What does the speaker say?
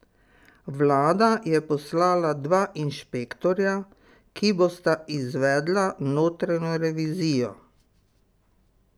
Vlada je poslala dva inšpektorja, ki bosta izvedla notranjo revizijo.